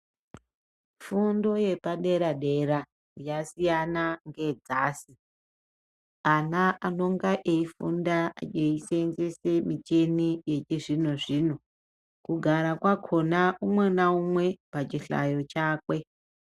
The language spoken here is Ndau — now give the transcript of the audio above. Fundo yepadera dera yasiyana ngedzasi ana anonga eifunda eiseenzese michini yechizvino zvino kugara kwakhona umwe naumwe pachihlayo chakwe.